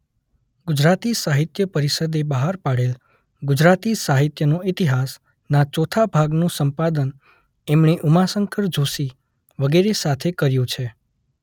ગુજરાતી સાહિત્ય પરિષદે બહાર પાડેલ ‘ગુજરાતી સાહિત્યનો ઇતિહાસ’ના ચોથા ભાગનું સંપાદન એમણે ઉમાશંકર જોશી વગેરે સાથે કર્યું છે.